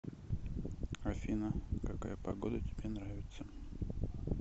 афина какая погода тебе нравится